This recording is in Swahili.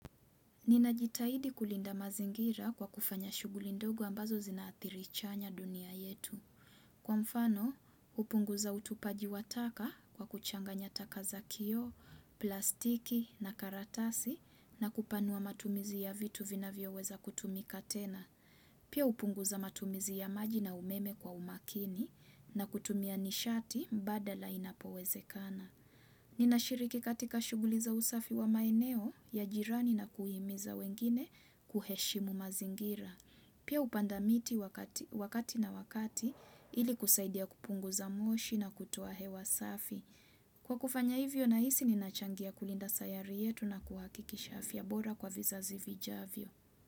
Ninajitahidi kulinda mazingira kwa kufanya shughuli ndogo ambazo zina athiri chanya dunia yetu. Kwa mfano, hupunguza utupaji wa taka kwa kuchanganya taka za kioo, plastiki na karatasi na kupanua matumizi ya vitu vinavyoweza kutumika tena. Pia hupunguza matumizi ya maji na umeme kwa umakini na kutumia nishati mbadala inapowezekana. Ninashiriki katika shughuli za usafi wa maeneo ya jirani na kuhimiza wengine kuheshimu mazingira. Pia hupanda miti wakati na wakati ili kusaidia kupunguza moshi na kutoa hewa safi. Kwa kufanya hivyo nahisi ninachangia kulinda sayari yetu na kuhakikisha afya bora kwa vizazi vijavyo.